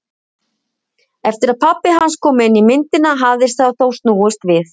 Eftir að pabbi hans kom inn í myndina hafði það þó snúist við.